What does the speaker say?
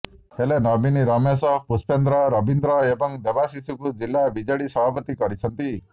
ହେଲେ ନବୀନ ରମେଶ ପୁଷ୍ପେନ୍ଦ୍ର ରବୀନ୍ଦ୍ର ଏବଂ ଦେବାଶିଷଙ୍କୁ ଜିଲ୍ଲା ବିଜେଡି ସଭାପତି କରିଛନ୍ତି